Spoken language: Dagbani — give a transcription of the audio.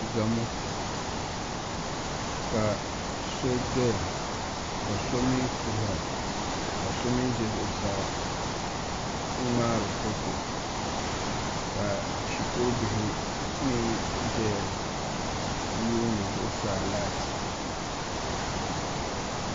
Gamo ka so doya ka so mii kuhura ka so mii ʒɛ zuɣusaa n ŋmaari foto ka shikuru bihi mii ʒɛya n yuundi zuɣusaa laati